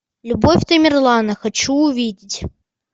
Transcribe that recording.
любовь тамерлана хочу увидеть